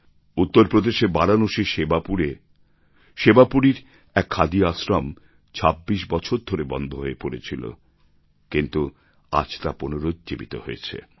উত্তর প্রদেশে বারাণসীর সেবাপুরে সেবাপুরীর এক খাদি আশ্রম ২৬ বছর ধরে বন্ধ হয়ে পড়েছিল কিন্তু আজ তা পুনর্জীবিত হয়েছে